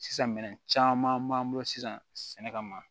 Sisan minɛn caman b'an bolo sisan sɛnɛ kama